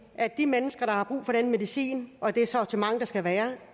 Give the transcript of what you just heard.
at de mennesker der har brug for den medicin og det sortiment der skal være